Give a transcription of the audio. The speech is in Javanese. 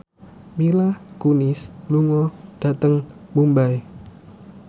Mila Kunis lunga dhateng Mumbai